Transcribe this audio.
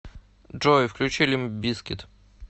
джой включи лимп бизкит